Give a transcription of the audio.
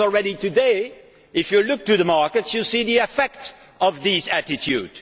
Because already today, if you look at the markets, you can see the effect of this attitude.